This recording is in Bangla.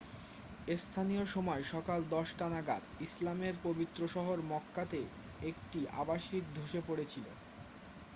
স্থানীয় সময় সকাল 10 টা নাগাদ ইসলামের পবিত্র শহর মক্কাতে একটি আবাসিক ধসে পড়েছিল